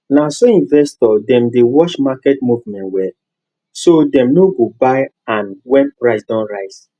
naso investors dem dey watch market movement well so dem no go buy an when price don rise